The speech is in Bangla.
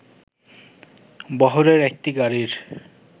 বহরের একটি গাড়ির